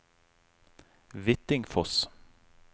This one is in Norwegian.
Hvittingfoss